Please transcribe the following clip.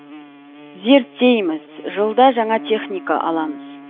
зерттейміз жылда жаңа техника аламыз